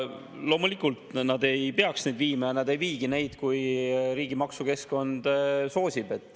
Loomulikult nad ei peaks neid viima ja nad ei viigi, kui riigi maksukeskkond soosib.